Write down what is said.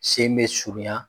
Sen be surunya